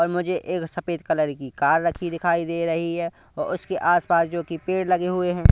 और मुझे एक सफेद कलर की कार रखी दिखाई दे रही है उसके आस पास जोकि पेड़ लगे हुए हैं।